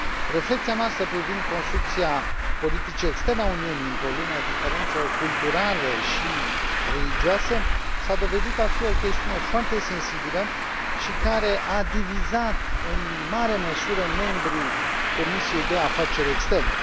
Reflecția noastră privind construcția politicii externe a Uniunii într o lume a diferențelor culturale și religioase s a dovedit a fi o chestiune foarte sensibilă, care a divizat, în mare măsură, membrii Comisiei de afaceri externe.